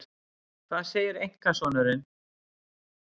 Hvað segir einkasonurinn?